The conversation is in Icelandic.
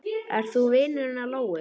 Ert þú vinur hennar Lóu?